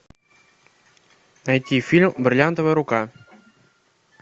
найти фильм бриллиантовая рука